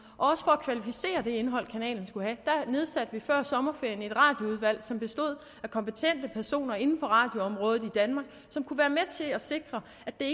og for at kvalificere det indhold kanalen skulle have nedsatte vi før sommerferien et radioudvalg som bestod af kompetente personer inden for radioområdet i danmark som kunne være med til at sikre